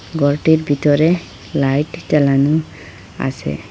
গরটির ভিতরে লাইট জ্বালানো আসে।